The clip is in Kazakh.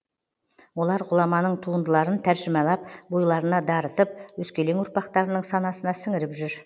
олар ғұламаның туындыларын тәржімалап бойларына дарытып өскелең ұрпақтарының санасына сіңіріп жүр